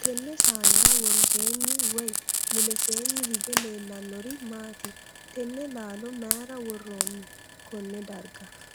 Tenne saanera woroseenni woyi muleseenni hige leellanori maati? Tenne laallo mayira woroonni konne darga?